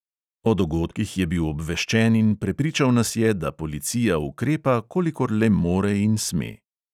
O dogodkih je bil obveščen in prepričal nas je, da policija ukrepa, kolikor le more in sme.